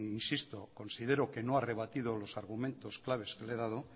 insisto que considero que no ha rebatido los argumentos claves que le he dado